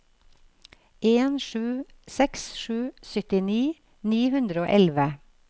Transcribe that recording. en sju seks sju syttini ni hundre og elleve